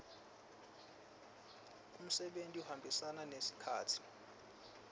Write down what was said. umsebenti uhambisana nesikhatsi